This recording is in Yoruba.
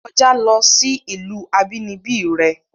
Kojá lo sí ìlú abínibí re!